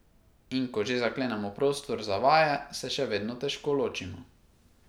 In ko že zaklenemo prostor za vaje, se še vedno težko ločimo.